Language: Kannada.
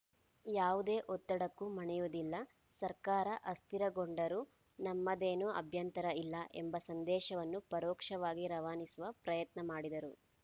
ಯಾವುದೇ ಒತ್ತಡಕ್ಕೂ ಮಣಿಯುವುದಿಲ್ಲ ಸರ್ಕಾರ ಅಸ್ಥಿರಗೊಂಡರೂ ನಮ್ಮದೇನು ಅಭ್ಯಂತರ ಇಲ್ಲ ಎಂಬ ಸಂದೇಶವನ್ನು ಪರೋಕ್ಷವಾಗಿ ರವಾನಿಸುವ ಪ್ರಯತ್ನ ಮಾಡಿದರು